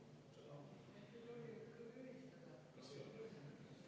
Poolt 40, vastu 4, erapooletuid 0.